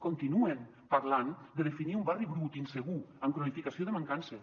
continuen parlant de definir un barri brut insegur amb cronificació de mancances